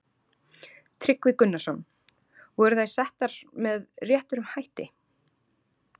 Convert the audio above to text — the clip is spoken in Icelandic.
Tryggvi Gunnarsson: Voru þær settar með réttum hætti?